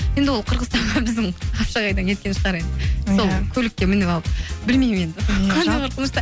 енді ол қырғызстанға біздің қапшағайдан кеткен шығар енді иә сол көлікке мініп алып білмеймін енді қандай қорқынышты